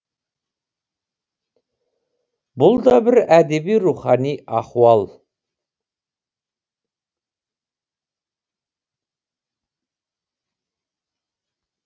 бұл да бір әдеби рухани ахуал